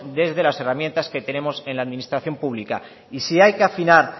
desde las herramientas que tenemos en la administración pública y si hay que afinar